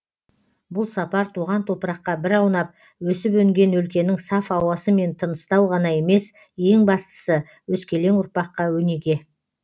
бұл сапар туған топыраққа бір аунап өсіп өнген өлкенің саф ауасымен тыныстау ғана емес ең бастысы өскелең ұрпаққа өнеге